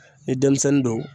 Ni denmisɛnnin don